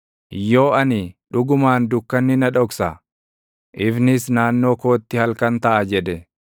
Yoo ani, “Dhugumaan dukkanni na dhoksa; ifnis naannoo kootti halkan taʼa” jedhe,